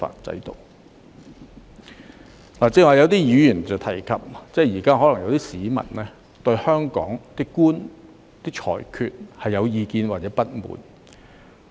剛才有議員提及，現在有些市民對香港法官的裁決有意見或不滿。